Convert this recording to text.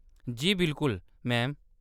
जी, बिल्कुल, मैम।